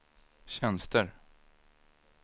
tjänster